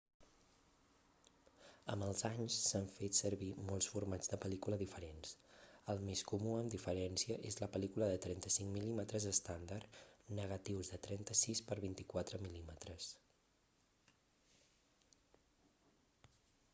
amb els anys s'han fet servir molts formats de pel·lícula diferents. el més comú amb diferència és la pel·lícula de 35 mm estàndard negatius de 36 per 24 mm